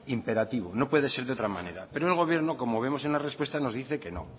imperativo no puede ser de otra manera pero el gobierno como vemos en la respuesta nos dice que no